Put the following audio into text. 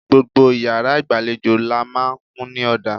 Gbogbo iyàrá ìgbàlejò làá n máa kùn ní òdà